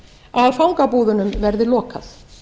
að fangabúðunum verði lokað